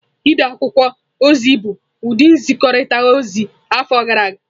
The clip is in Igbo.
Ide akwụkwọ ozi bụ ụdị nzikọrịta ozi afọ gara aga.